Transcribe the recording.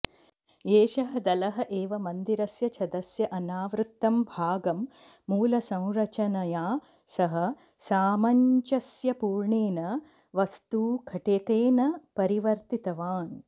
एषः दलः एव मन्दिरस्य छदस्य अनावृत्तं भागं मूलसंरचनया सह सामञ्जस्यपूर्णेन वास्तुघटकेन परिवर्तितवान्